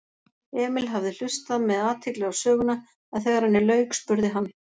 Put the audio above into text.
Emil hafði hlustað með athygli á söguna en þegar henni lauk spurði hann